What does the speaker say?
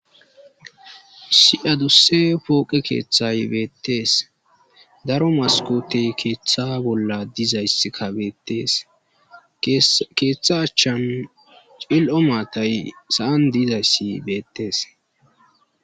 si7adusse pooqe keeththay beettees daro maskotey keeththa bolla dizayss kabeetees keeththa achchan cil7o maatay sa7an diizayssi beettees